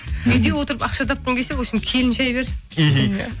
үйде отырып ақша тапқың келсе вообщем келін шәй бер мхм